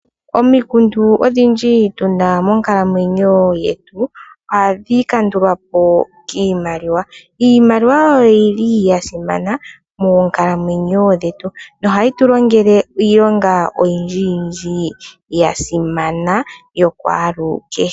Omikundu odhindji tu na monkalamwenyo yetu, oha dhi kandulwa po kiimaliwa. Iimaliwa oyi li ya simana moonkalamwenyo dhetu, noha yi tu longele iilonga oyindji yindji ya simana kwalu kehe.